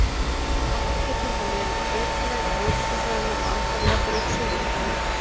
Átt getur þá verið breytileg á höfuðborgarsvæðinu og andar jafnvel af suðri.